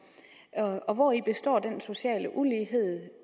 hvori består den sociale ulighed